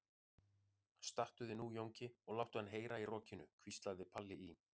Stattu þig nú Jónki og láttu hann heyra í rokinu, hvíslaði Palli í